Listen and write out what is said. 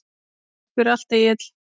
Takk fyrir allt, Egill.